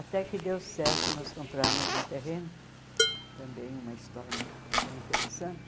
Até que deu certo, nós compramos um terreno, também uma história bem interessante,